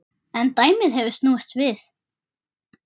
En dæmið hefur snúist við.